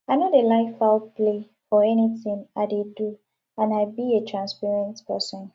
i no dey like foul play for anything i dey do and i be a transparent person